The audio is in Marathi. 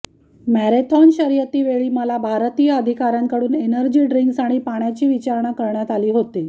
मॅरेथॉन शर्यतीवेळी मला भारतीय अधिकाऱयांकडून एनर्जी ड्रींक्स आणि पाण्याची विचारणा करण्यात आली होती